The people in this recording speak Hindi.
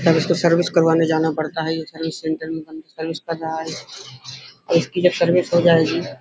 तब इसको सर्विस करवाने जाना पड़ता है | ये सर्विस सेंटर में सर्विस कर रहा है। इसकी जब सर्विस हो जाएगी --